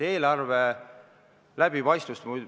Eelarve läbipaistvus.